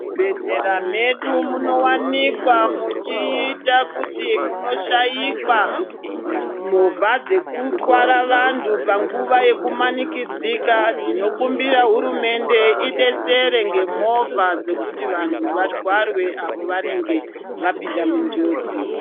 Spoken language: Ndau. Muzvibhedhlera mwedu munovanikwa muchiita kuti munoshaikwa movha dzekutwara vantu panguva dzekumanikidzika. Tinokumbira hurumende ibatsire ngemovha dzekuti vantu vatwarwe pavanenge vapinda munjodzi.